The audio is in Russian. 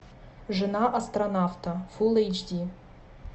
жена астронавта фул эйч ди